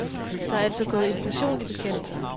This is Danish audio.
Der er altså gået inflation i bekendelser.